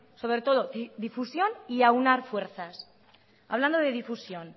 sobre todo difusión y aunar fuerzas hablando de difusión